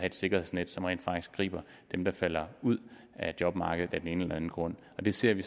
et sikkerhedsnet som rent faktisk griber dem der falder ud af jobmarkedet af den ene eller den anden grund det ser vi